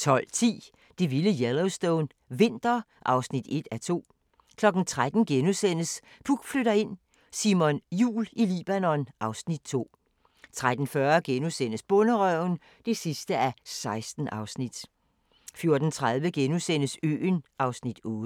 12:10: Det vilde Yellowstone – vinter (1:2) 13:00: Puk flytter ind: Simon Jul i Libanon (Afs. 2)* 13:40: Bonderøven (16:16)* 14:30: Øen (Afs. 8)*